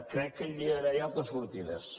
crec que hi hauria d’haver altres sortides